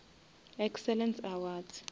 excellence awards